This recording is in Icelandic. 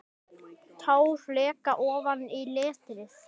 Tár leka ofan á letrið.